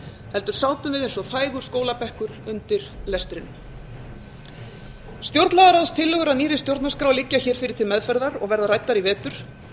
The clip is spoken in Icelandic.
heldur sátum við eins og þægur skólabekkur undir lestrinum stjórnlagaráðstillögur að nýrri stjórnarskrá liggja fyrir til meðferðar og verða ræddar í vetur